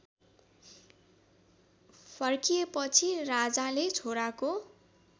फर्किएपछि राजाले छोराको